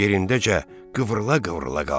Yerindəcə qıvrıla-qıvrıla qaldı.